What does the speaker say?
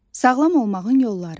Sağlam olmağın yolları.